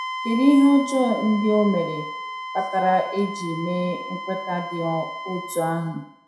kedụ ihe ọjọọ ndị o mere kpatara e ji mee nkweta dị otú ahụ?